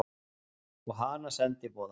Og hana sendiboða.